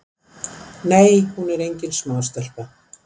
Nei hún er engin smástelpa.